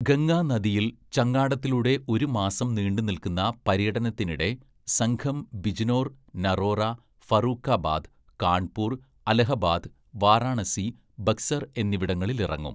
"ഗംഗാ നദിയില്‍ ചങ്ങാടത്തിലൂടെ ഒരു മാസം നീണ്ട് നില്‍ക്കുന്ന പര്യടനത്തിനിടെ സംഘം ബിജ്‌നോർ , നറോറ, ഫറൂക്കാബാദ്, കാണ്‍പൂര്‍, അലഹബാദ്, വാരാണസി, ബക്‌സര്‍ എന്നിവിടങ്ങളിലിറങ്ങും. "